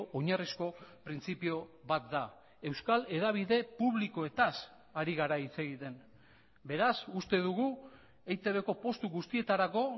oinarrizko printzipio bat da euskal hedabide publikoetaz ari gara hitz egiten beraz uste dugu eitbko postu guztietarako